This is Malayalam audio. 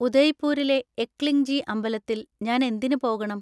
ഉദയ്‌പൂരിലെ എക്ലിംഗ്ജി അമ്പലത്തിൽ ഞാൻ എന്തിന് പോകണം?